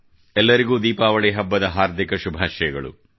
ಇಂದು ಎಲ್ಲರಿಗೂ ದೀಪಾವಳಿ ಹಬ್ಬದ ಹಾರ್ದಿಕ ಶುಭಾಷಯಗಳು